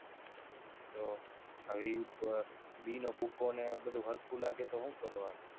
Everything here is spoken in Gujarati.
તો આ વિવિધ બી નો ભૂખો ને આ બધુ સરખું લાગે તો શું કરવાનું?